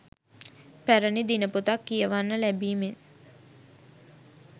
පැරණි දිනපොතක් කියවන්න ලැබීමෙන්